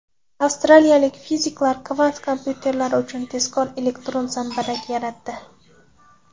Avstraliyalik fiziklar kvant kompyuterlari uchun tezkor elektron zambarak yaratdi.